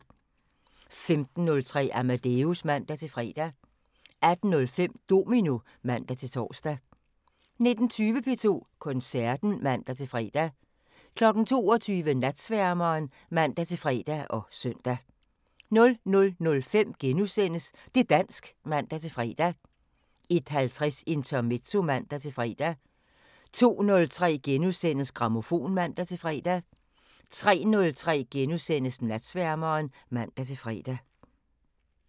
15:03: Amadeus (man-fre) 18:05: Domino (man-tor) 19:20: P2 Koncerten (man-fre) 22:00: Natsværmeren (man-fre og søn) 00:05: Det' dansk *(man-fre) 01:50: Intermezzo (man-fre) 02:03: Grammofon *(man-fre) 03:03: Natsværmeren *(man-fre)